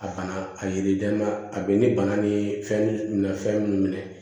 A bana a yiri den na a bɛ ni bana ni fɛn na fɛn minnu minɛ